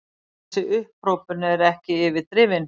Þessi upphrópun er ekki yfirdrifin.